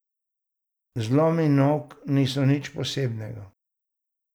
Zlomi nog niso nič posebnega.